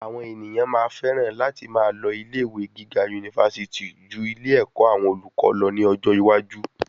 Àwọn ènìyàn máa féràn láti máa lọ ilé ìwé gíga unifásití jú ilé ẹ̀kọ́ àwọn olùkọ́ lọ ní ọjọ́ iwájú